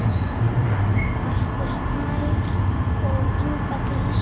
Atli Snær og Inga Dís.